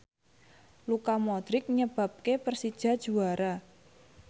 Luka Modric nyebabke Persija juara